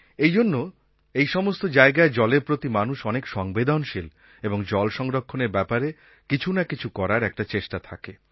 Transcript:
এইজন্য এই সমস্ত জায়গায় জলের প্রতি মানুষ অনেক সংবেদনশীল এবং জল সংরক্ষণের ব্যাপারে কিছু না কিছু করার একটা চেষ্টা থাকে